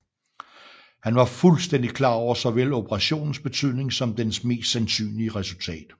Han var fuldstændig klar over såvel operationens betydning som dens mest sandsynlige resultat